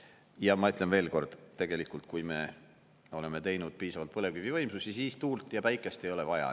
Ja ma ütlen veel kord: tegelikult kui me oleme teinud piisavalt põlevkivivõimsusi, siis tuult ja päikest ei ole vaja.